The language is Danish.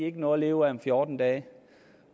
ikke noget at leve af om fjorten dage